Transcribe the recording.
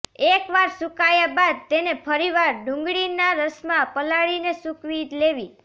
એકવાર સૂકાયા બાદ તેને ફરીવાર ડુંગળીના રસમાં પલાળીને સૂકવી લેવી